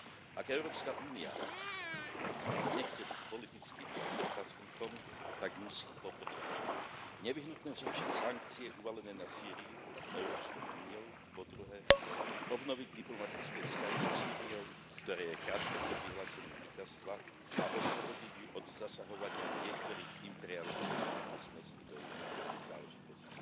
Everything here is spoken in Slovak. Ak Európska únia nechce byť politickým trpaslíkom, tak musí, po prvé, nevyhnutne zrušiť sankcie uvalené na Sýriu Európskou úniou, po druhé, obnoviť diplomatické vzťahy so Sýriou, ktorá je krátko pred vyhlásením víťazstva, a oslobodiť ju od zasahovania niektorých imperialistických mocností do jej vnútorných záležitostí.